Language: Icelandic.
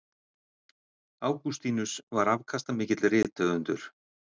Ágústínus var afkastamikill rithöfundur.